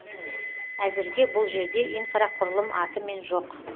әзірге бұл жерде инфрақұрылым атымен жоқ